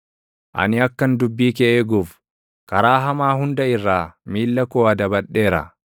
Ani akkan dubbii kee eeguuf, karaa hamaa hunda irraa miilla koo adabadheera.